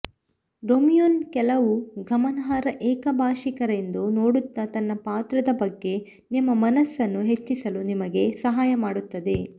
ರೋಮಿಯೋನ ಕೆಲವು ಗಮನಾರ್ಹ ಏಕಭಾಷಿಕರೆಂದು ನೋಡುತ್ತಾ ತನ್ನ ಪಾತ್ರದ ಬಗ್ಗೆ ನಿಮ್ಮ ಮನಸ್ಸನ್ನು ಹೆಚ್ಚಿಸಲು ನಿಮಗೆ ಸಹಾಯ ಮಾಡುತ್ತದೆ